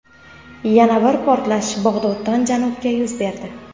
Yana bir portlash Bag‘doddan janubda yuz berdi.